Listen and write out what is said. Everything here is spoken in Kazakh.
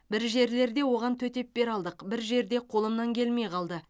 бір жерлерде оған төтеп бере алдық бір жерде қолымнан келмей қалды